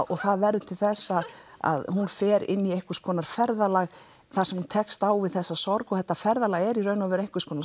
og það verður til þess að hún fer í einhvers konar ferðalag þar sem hún tekst á við þessa sorg og þetta ferðalag er í raun og veru einhvers konar